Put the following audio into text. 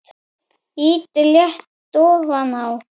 Ýtið létt ofan á.